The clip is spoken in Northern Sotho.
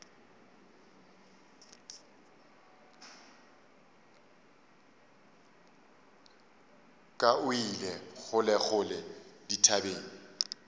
ka o ile kgolekgole dithabeng